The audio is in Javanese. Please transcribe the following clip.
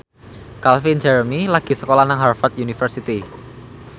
Calvin Jeremy lagi sekolah nang Harvard university